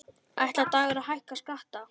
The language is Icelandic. Ætlar Dagur að hækka skatta?